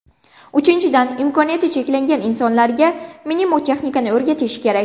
Uchinchidan, imkoniyati cheklangan insonlarga mnemotexnikani o‘rgatish kerak.